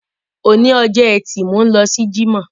Òní ọjọ́ ẹtì, mò ń lọ sí Jímọ̀.